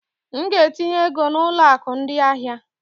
M ga-etinye ego na ụlọ akụ ndị ahịa.